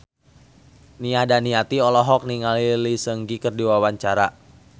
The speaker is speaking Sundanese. Nia Daniati olohok ningali Lee Seung Gi keur diwawancara